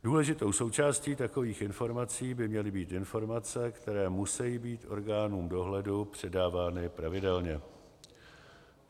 Důležitou součástí takových informací by měly být informace, které musejí být orgánům dohledu předávány pravidelně.